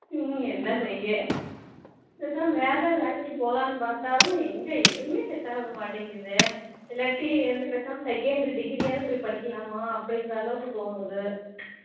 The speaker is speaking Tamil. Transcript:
ஹம் என்ன செய்ய பேசாம வேற ஏதாவது வேலைக்கு போலாம்னு பாத்தாலும் எங்க எதுமே set ஆகமாட்டிங்கு இல்லயாட்டி ஏதாச்சும் second degree ஆவது போய் படிக்கலாம்னு அப்படின்ற அளவுக்குத்தோணுது